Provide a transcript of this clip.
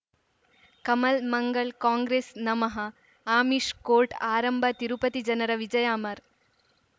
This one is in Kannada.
ಕಮಲ್ ಮಂಗಳ್ ಕಾಂಗ್ರೆಸ್ ನಮಃ ಅಮಿಷ್ ಕೋರ್ಟ್ ಆರಂಭ ತಿರುಪತಿ ಜನರ ವಿಜಯ ಅಮರ್